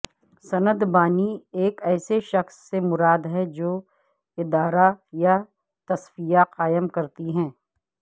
سنت بانی ایک ایسے شخص سے مراد ہے جو ادارہ یا تصفیہ قائم کرتی ہے